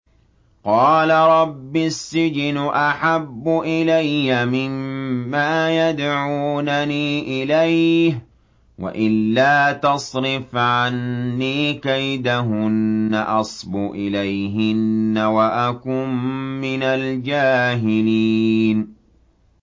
قَالَ رَبِّ السِّجْنُ أَحَبُّ إِلَيَّ مِمَّا يَدْعُونَنِي إِلَيْهِ ۖ وَإِلَّا تَصْرِفْ عَنِّي كَيْدَهُنَّ أَصْبُ إِلَيْهِنَّ وَأَكُن مِّنَ الْجَاهِلِينَ